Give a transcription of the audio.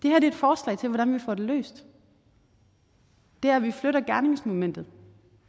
er et forslag til hvordan vi får det løst det er at vi flytter gerningsmomentet